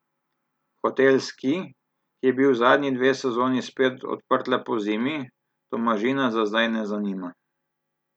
Hotel Ski, ki je bil zadnji dve sezoni spet odprt le pozimi, Tomažina za zdaj ne zanima.